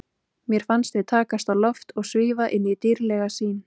Mér fannst við takast á loft og svífa inn í dýrðlega sýn.